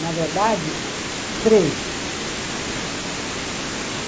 Na verdade, treze.